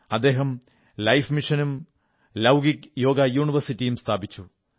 അദ്ദേഹം ലൈഫ് മിഷനും ലാകുലിഷ് യോഗ യൂണിവേഴ്സിറ്റിയും സ്ഥാപിച്ചു